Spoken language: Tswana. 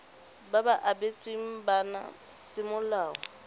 ba ba abetsweng bana semolao